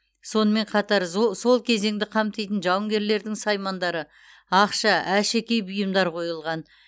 сонымен қатар зо сол кезеңді қамтитын жауынгерлердің саймандары ақша әшекей бұйымдар қойылған